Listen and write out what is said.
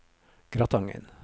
Gratangen